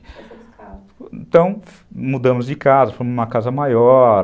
Então, mudamos de casa, fomos em uma casa maior.